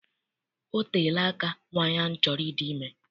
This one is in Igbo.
Ọ teela aka nwaanyị ahụ chọrọ ịdị ime.